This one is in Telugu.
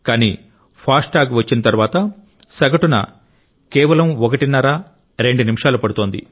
కానీ ఫాస్ట్ ట్యాగ్ వచ్చిన తరువాత సగటున కేవలం ఒకటిన్నర రెండు నిమిషాలు పడుతోంది